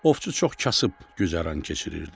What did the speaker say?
Ovçu çox kasıb güzəran keçirirdi.